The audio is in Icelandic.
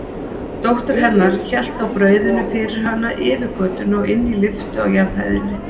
Dóttir hennar hélt á brauðinu fyrir hana yfir götuna og inn í lyftu á jarðhæðinni.